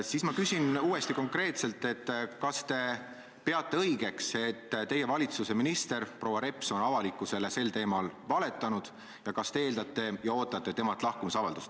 Siis ma küsin uuesti konkreetselt, et kas te peate õigeks, et teie valitsuse minister proua Reps on avalikkusele sel teemal valetanud, ning kas te eeldate ja ootate temalt lahkumisavaldust.